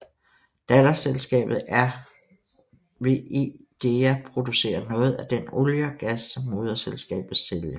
Datterselskabet RWE Dea producerer noget af den olie og gas som moderselskabet sælger